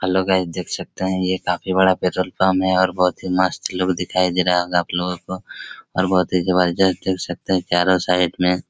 hello guys देख सकते है ये काफी बड़ा पेट्रोल पंप है और बहुत ही मस्त लुक दिखाई दे रहा होगा आपलोगों को और बहोत ही जबरदस्त देख सकते है चारों साइड में--